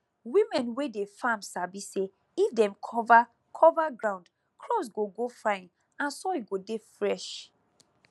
women wey dey farm sabi say if dem cover cover ground crops go grow fine and soil go dey fresh